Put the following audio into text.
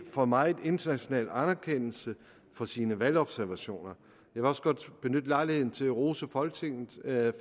får meget international anerkendelse for sine valgobservationer jeg vil også godt benytte lejligheden til at rose folketinget